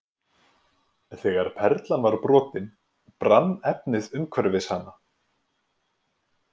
Þegar perlan var brotin brann efnið umhverfis hana.